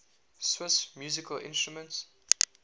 swiss musical instruments